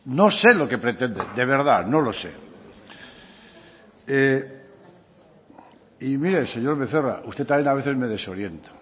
no sé lo que pretende de verdad no lo sé y mire señor becerra usted también a veces me desorienta